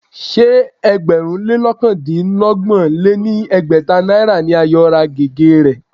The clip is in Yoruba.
Ṣé ẹgbẹ̀rún lé ọ̀kandínọgbọ̀n lé ní ẹgbẹ́ta náírà ni Ayo ra gègé rẹ̀